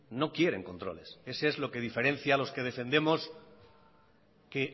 no quieren controles ese es lo que diferencia a los que defendemos que